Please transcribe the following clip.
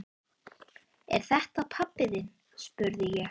Er þetta pabbi þinn? spurði ég.